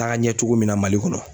taga ɲɛ cogo min na Mali kɔnɔ.